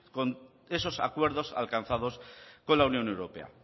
con esos acuerdos alcanzados con la unión europea